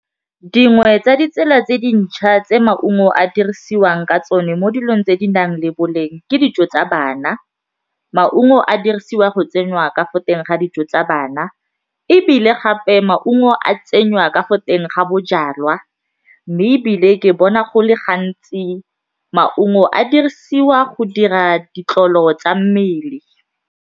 Dingwe tsa ditsela tse dintšhwa tse maungo a dirisiwang ka tsone mo dilong tse di nang le boleng ke dijo tsa bana, maungo a dirisiwa go tsenywa ka fo teng ga dijo tsa bana ebile gape maungo a tsenywa ka fo teng ga bojalwa mme ebile ke bona go le gantsi maungo a dirisiwa go dira ditlolo tsa mmele.